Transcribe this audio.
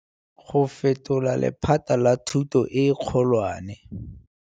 Go fetola lephata la thuto e kgolwane